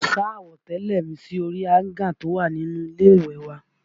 Mo sá àwọ̀tẹ́lẹ̀ mi sí orí áńgà tí ó wà ní ilé ìwẹ̀ wa